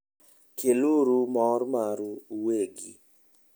Keluru mor maru uwegi.